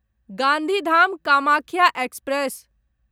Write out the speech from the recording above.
Gandhidham Kamakhya express